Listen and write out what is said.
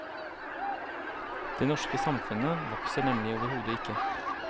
Det norske samfunnet vokser nemlig overhodet ikke.